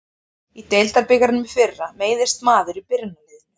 Í deildabikarnum í fyrra meiðist maður í byrjunarliðinu.